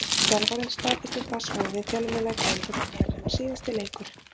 Þjálfarinn staðfesti það svo við fjölmiðla í kvöld að þetta væri hans síðasti leikur.